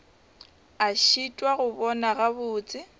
a šitwa go bona gabotse